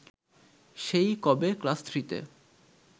সেই কবে ক্লাস থ্রিতে